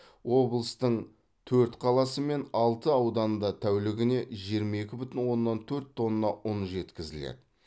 облыстың төрт қаласы мен алты ауданында тәулігіне жиырма екі бүтін оннан төрт тонна ұн жеткізіледі